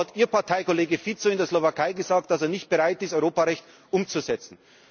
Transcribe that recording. Demgegenüber hat Ihr Parteikollege Fico in der Slowakei gesagt, dass er nicht bereit ist, Europarecht umzusetzen.